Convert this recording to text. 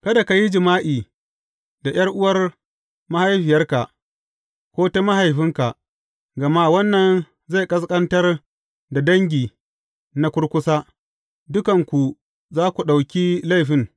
Kada ka yi jima’i da ’yar’uwar mahaifiyarka, ko ta mahaifinka, gama wannan zai ƙasƙantar da dangi na kurkusa, dukanku za ku ɗauki laifin.